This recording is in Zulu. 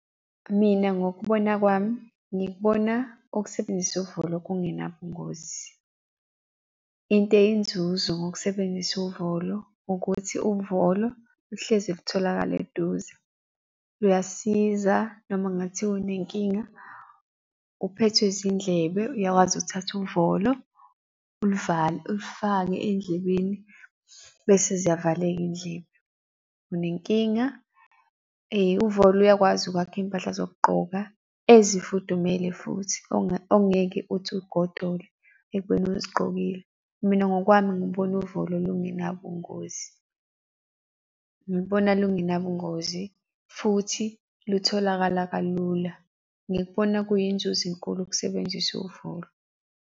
Mina ngokubona kwami, ngikubona ukusebenzisa uvolo kungenabungozi. Into eyinzuzo ngokusebenzisa uvolo ukuthi uvolo luhlezi lutholakala eduze. Luyasiza noma ngabe kuthiwa unenkinga. Uphethwe zindlebe, uyakwazi ukuthatha uvolo, uluvale, ulufake ey'ndlebeni bese ziyavaleka iy'ndlebe. Unenkinga, uvolo uyakwazi ukwakha iy'mpahla zokugqoka ezifudumele futhi ongeke ukuthi ugodole ekubeni uzigqokile. Mina ngokwami ngibona uvolo lungenabungozi. Ngilubona lungenabungozi futhi lutholakala kalula. Ngikubona kuyinzuzo enkulu ukusebenzisa uvolo.